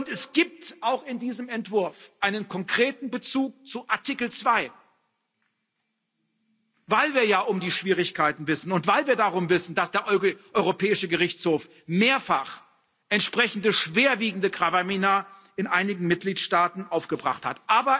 Es gibt auch in diesem Entwurf einen konkreten Bezug zu Artikel 2, weil wir ja um die Schwierigkeiten wissen und weil wir darum wissen, dass der Europäische Gerichtshof mehrfach entsprechende schwerwiegende Gravamina in einigen Mitgliedstaaten aufgebracht hat.